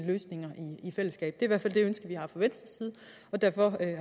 løsninger i fællesskab det hvert fald det ønske vi har fra venstres side og derfor